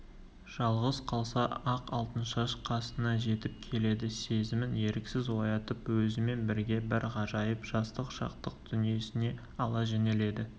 жалғыз қалса-ақ алтыншаш қасына жетіп келеді сезімін еріксіз оятып өзімен бірге бір ғажайып жастық-шаттық дүниесіне ала жөнеледі